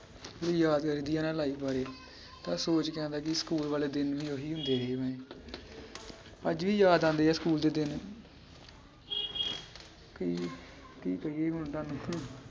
ਜਦੋ ਯਾਦ ਲੱਗਦੀ ਆ ਨਾ life ਬਾਰੇ ਤਾਂ ਸੋਚ ਕੇ ਆਉਂਦਾ ਕੀ ਸਕੂਲ ਵਾਲੇ ਦਿਨ ਵੀ ਓਹੀ ਹੁੰਦੇ ਹੀ ਓਵੇਂ ਅੱਜ ਵੀ ਯਾਦ ਆਂਦੇ ਆ ਸਕੂਲ ਦੇ ਦਿਨ ਕੀ ਕੀ ਕਰੀਏ ਹੁਣ ਤੁਹਾਨੂੰ ਹਮ!